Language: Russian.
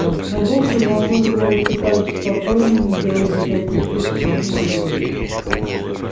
но бог продолжал говорить всё так же спокойно не делая никаких резких движений